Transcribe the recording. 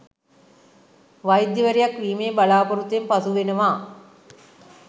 වෛද්‍යවරියක් වීමේ බලාපොරොත්තුවෙන් පසු වෙනවා